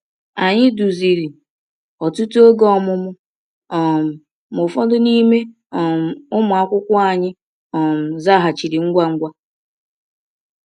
Anyị duziri ọtụtụ oge ọmụmụ, um ma ụfọdụ n’ime um ụmụ akwụkwọ anyị um zaghachiri ngwa ngwa.